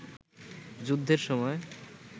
যুদ্ধের সময়